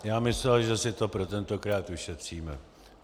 Já myslel, že si to pro tentokrát ušetříme.